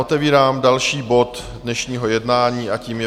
Otevírám další bod dnešního jednání a tím je